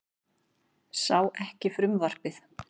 Sá ekki frumvarpið